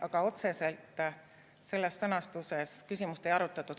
Aga otseselt selles sõnastuses küsimust ei arutatud.